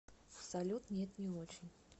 салют нет не очень